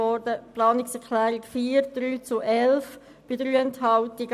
Ebenso abgelehnt wurde die Planungserklärung 4 mit 3 Ja- gegen 11 Nein-Stimmen bei 3 Enthaltungen.